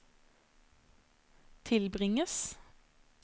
tilbringes